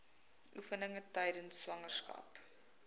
oefeninge tydens swangerskap